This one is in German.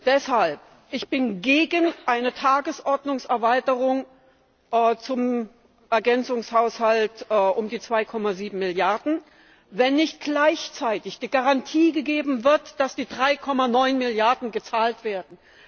Deshalb bin ich gegen eine Tagesordnungserweiterung zum Ergänzungshaushalt um die 2,7 Milliarden, wenn nicht gleichzeitig die Garantie gegeben wird, dass die 3,9 Milliarden gezahlt werden.